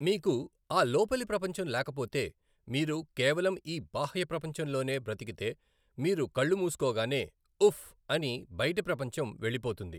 మీకు ఆ లోపలి ప్రపంచం లేకపోతే మీరు కేవలం ఈ బాహ్య ప్రపంచంలోనే బ్రతికితే మీరు కళ్ళు మూసుకోగానే "ఉఫ్ఫ్....." అని బైటి ప్రపంచం వెళ్ళిపోతుంది.